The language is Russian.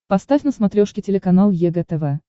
поставь на смотрешке телеканал егэ тв